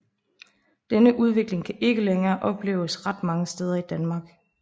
Denne udvikling kan ikke længere opleves ret mange steder i Danmark